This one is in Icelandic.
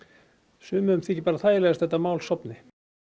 sumum þyki bara þægilegast að þetta mál sofni